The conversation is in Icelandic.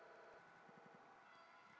En hver er staðan núna?